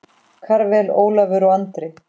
Karvel, Ólafur og Andri.